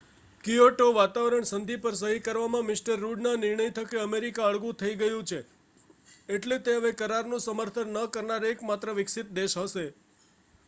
Kyoto વાતાવરણ સંધિ પર સહી કરવાના મિ રુડના નિર્ણય થકી અમેરિકા અળગું થઈ ગયું છે એટલે તે હવે કરારનું સમર્થન ન કરનાર એકમાત્ર વિકસિત દેશ હશે